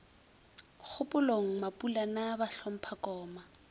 kgopolong mapulana ba hlompha koma